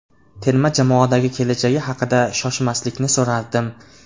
Terma jamoadagi kelajagi haqida Shoshmaslikni so‘rardim.